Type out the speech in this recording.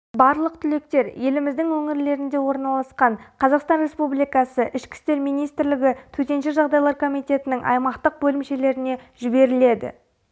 барлық түлектер еліміздің өңірлерінде орналасқан қазақстан республикасы ішкі істер министрлігі төтенше жағдайлар комитетінің аймақтық бөлімшелеріне жіберіледі